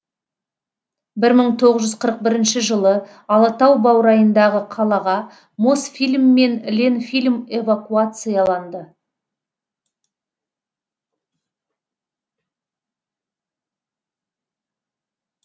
бір мың тоғыз жүз қырық бірінші жылы алатау баурайындағы қалаға мосфильм мен ленфильм эвакуацияланды